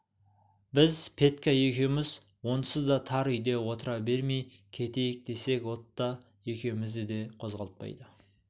біз петька екеуміз онсыз да тар үйде отыра бермей кетейік десек отто екеумізді де қозғалтпайды